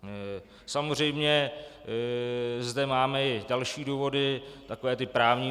Samozřejmě zde máme i další důvody, také ty právní.